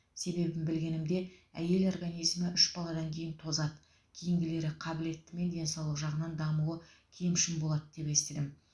себебін білгенімде әйел организмі үш баладан кейін тозады кейінгілері қабілетті мен денсаулық жағынан дамуы кемшін болады деп естідім